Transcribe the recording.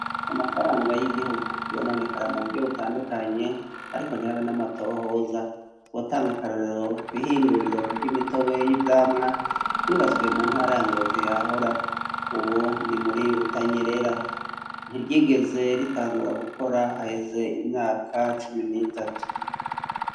Amafaranga y'igihugu yononekara mu buryo butandukanye ariko ntihabe n'amatohoza, twotanga akarorero, kw'ihinguriro ry'imitobe y'ivyamwa ryubatswe mu ntara ya Ngozi yahahora, ubu ni muri Butanyerera, ntiryigeze ritangura gukora, haheze imyaka cumi n'itatu.